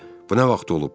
Bu nə vaxt olub?